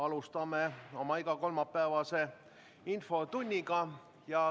Alustame oma igakolmapäevast infotundi.